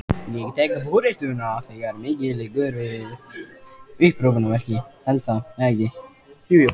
Ég tek forystuna, þegar mikið liggur við!